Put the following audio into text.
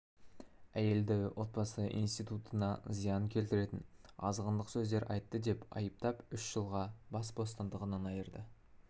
әйелді отбасы институтына зиян келтіретін азғындық сөздер айтты деп айыптап үш жылға бас бостандығынан айырды